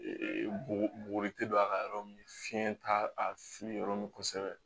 Ee bo buguri tɛ don a ka yɔrɔ min fiɲɛ t'a fili yɔrɔ min kosɛbɛ